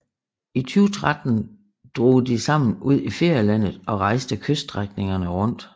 I 2013 drog de sammen ud i ferielandet og rejste kyststrækningerne rundt